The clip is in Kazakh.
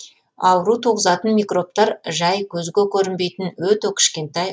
ауру туғызатын микробтар жай көзге көрінбейтін өте кішкентай